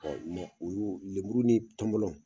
ulu lemuru ni tɔmɔlɔ.